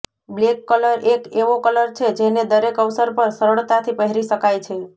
black colour એક એવો colour છે જેને દરેક અવસર પર સરળતાથી પહેરી શકાય છે